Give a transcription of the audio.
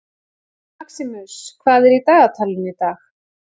Maximus, hvað er í dagatalinu í dag?